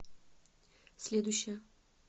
следующая